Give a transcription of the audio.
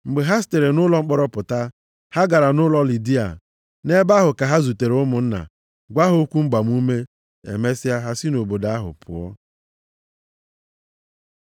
Mgbe ha sitere nʼụlọ mkpọrọ pụta, ha gara nʼụlọ Lidia. Nʼebe ahụ ka ha zutere ụmụnna, gwa ha okwu mgbamume, emesịa ha si nʼobodo ahụ pụọ.